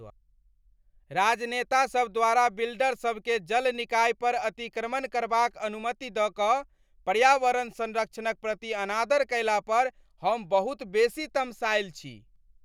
राजनेतासभ द्वारा बिल्डरसभकेँ जल निकायपर अतिक्रमण करबाक अनुमति दऽ कऽ पर्यावरण संरक्षणक प्रति अनादर कयलापर हम बहुत बेसी तमसायल छी।